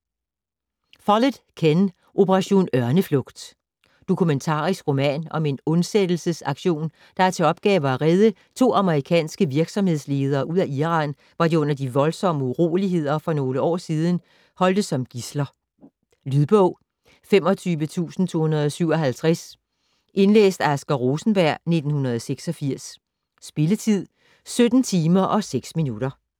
Follett, Ken: Operation ørneflugt Dokumentarisk roman om en undsættelsesaktion, der har til opgave at redde to amerikanske virksomhedsledere ud af Iran, hvor de under de voldsomme uroligheder for nogle år siden holdtes som gidsler. Lydbog 25257 Indlæst af Asger Rosenberg, 1986. Spilletid: 17 timer, 6 minutter.